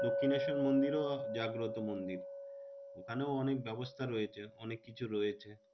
দক্ষিনেশ্বর মন্দিরও জাগ্রত মন্দির। ওখানেও অনেক ব্যবস্থা রয়েছে অনেক কিছু রয়েছে।